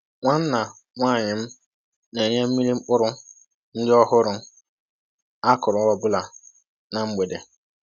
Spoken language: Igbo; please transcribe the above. Nwanna nwaanyị m na-enye mmiri mkpụrụ ndị ọhụrụ a kụrụ ọ bụla na mgbede